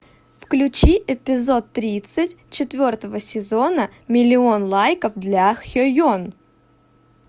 включи эпизод тридцать четвертого сезона миллион лайков для хеен